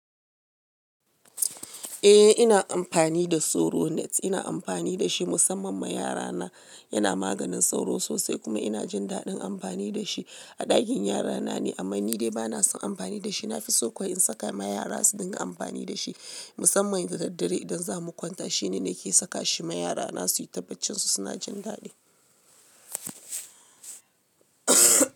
Eh ina amfani da Soronet, ina amfani da shi musamman ma yara na yana maganin sauro sosai kuma ina jin daɗin amfani da shi a ɗakin yara na ne amma ni dai bana son amfani da shi. Na fi so kuwa in saka ma yara su ɗinga amfani da shi musamman da daddare idan za mu kwanta. Shi ne nake saka shi ma yara na suyi tabbacin su. Su na jin daɗi.